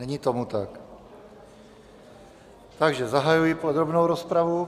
Není tomu tak, takže zahajuji podrobnou rozpravu.